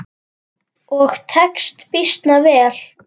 Og tekst býsna vel.